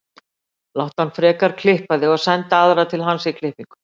Láttu hann frekar klippa þig og sendu aðra til hans í klippingu.